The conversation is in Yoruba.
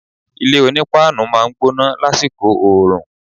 Ilé onípáánù máa ń gbóná lásìkò oòrùn